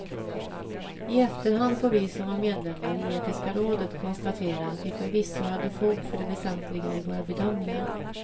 I efterhand får vi som var medlemmar i etiska rådet konstatera att vi förvisso hade fog för det väsentliga i våra bedömningar.